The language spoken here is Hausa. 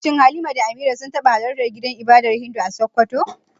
Shin Halima da Amira sun taba halartar gidan ibadar Hindu a Sokoto?